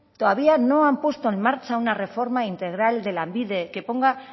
todavía no han puesto en marcha una reforma integral de lanbide que ponga